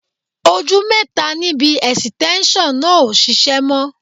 Ojú mẹ́ta níbi ẹ̀sìtẹ́ńṣọ̀ náà ò ṣiṣẹ́ mọ́